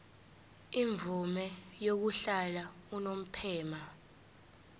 imvume yokuhlala unomphema